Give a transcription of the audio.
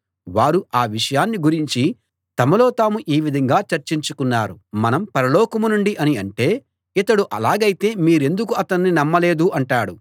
వారు ఆ విషయాన్ని గురించి తమలో తాము ఈ విధంగా చర్చించుకున్నారు మనం పరలోకం నుండి అని అంటే ఇతడు అలాగైతే మీరెందుకు అతన్ని నమ్మలేదు అంటాడు